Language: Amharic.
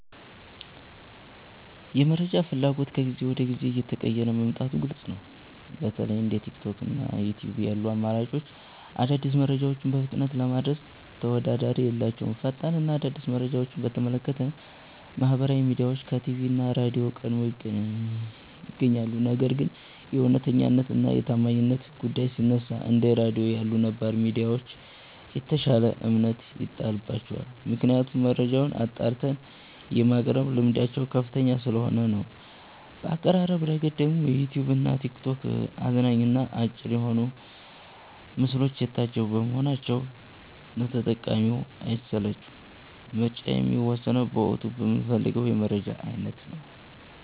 የመረጃ ፍላጎት ከጊዜ ወደ ጊዜ እየተቀየረ መምጣቱ ግልጽ ነው። በተለይ እንደ ቲክቶክ እና ዩትዩብ ያሉ አማራጮች አዳዲስ መረጃዎችን በፍጥነት ለማድረስ ተወዳዳሪ የላቸውም። ፈጣን እና አዲስ መረጃን በተመለከተ ማህበራዊ ሚዲያዎች ከቲቪ እና ራድዮ ቀድመው ይገኛሉ። ነገር ግን የእውነተኛነት እና የታማኝነት ጉዳይ ሲነሳ፣ እንደ ራድዮ ያሉ ነባር ሚዲያዎች የተሻለ እምነት ይጣልባቸዋል። ምክንያቱም መረጃን አጣርተው የማቅረብ ልምዳቸው ከፍተኛ ስለሆነ ነው። በአቀራረብ ረገድ ደግሞ ዩትዩብ እና ቲክቶክ አዝናኝ እና አጭር በሆኑ ምስሎች የታጀቡ በመሆናቸው ለተጠቃሚው አይሰለቹም። ምርጫዬ የሚወሰነው በወቅቱ በምፈልገው የመረጃ አይነት ነው።